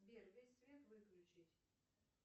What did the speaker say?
сбер весь свет выключить